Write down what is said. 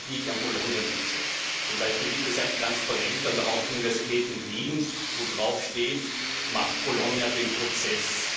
die Kritik am Bologna Prozess. Zum Beispiel gibt es ein Transparent an der Hauptuniversität in Wien, wo draufsteht Macht Bologna den Prozess!